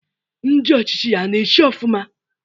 Ndị ọchịchị ya a na-achị ofụma?